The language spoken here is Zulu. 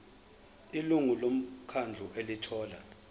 ilungu lomkhandlu elithola